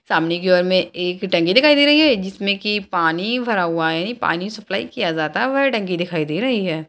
सामने की ओर में एक टंकी दिखाई दे रही है जिसमें की पानी भरा हुआ है पानी सप्लाय किया जाता है वह टंकी दिखाई दे रही है।